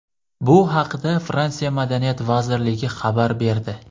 Bu haqda Fransiya Madaniyat vazirligi xabar berdi .